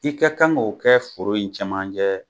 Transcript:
I ka kan k' o kɛ foro in cɛman cɛ